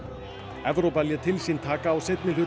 Evrópa lét til sína taka á seinni hluta